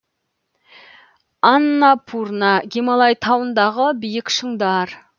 аннапурна гималай тауындағы биік шыңдар